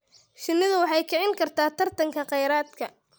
Shinnidu waxay kicin kartaa tartanka kheyraadka.